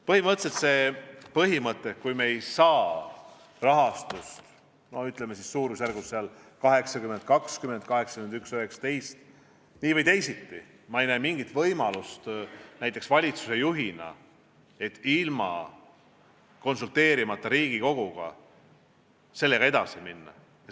" Põhimõtteliselt on seisukoht, et kui me ei saa rahastust, ütleme, suurusjärgus 80 : 20 või 81 : 19, siis nii või teisti ma ei näe valitsuse juhina mingit võimalust ilma Riigikoguga konsulteerimata sellega edasi minna.